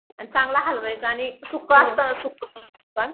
आणि चांगलं हलवायचा आणि सुक्क असत सुक्क पण